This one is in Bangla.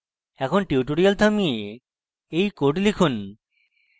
এখন tutorial থামিয়ে you code লিখুন